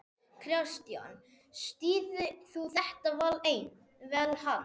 Kristján: Styður þú þetta val hans?